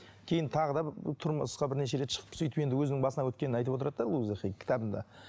кейін тағы да тұрмысқа бірнеше рет шығып сөйтіп енді өзінің басынан өткенін айтып отырады да луйза хей кітабында